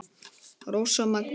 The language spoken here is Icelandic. Rósa Maggý.